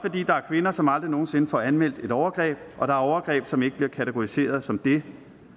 kvinder som aldrig nogen sinde får anmeldt et overgreb og der er overgreb som ikke bliver kategoriseret som det